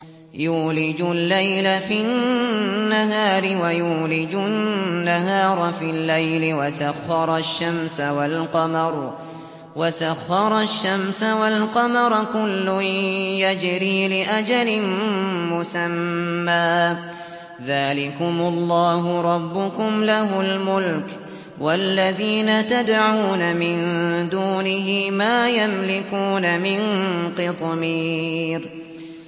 يُولِجُ اللَّيْلَ فِي النَّهَارِ وَيُولِجُ النَّهَارَ فِي اللَّيْلِ وَسَخَّرَ الشَّمْسَ وَالْقَمَرَ كُلٌّ يَجْرِي لِأَجَلٍ مُّسَمًّى ۚ ذَٰلِكُمُ اللَّهُ رَبُّكُمْ لَهُ الْمُلْكُ ۚ وَالَّذِينَ تَدْعُونَ مِن دُونِهِ مَا يَمْلِكُونَ مِن قِطْمِيرٍ